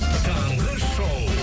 таңғы шоу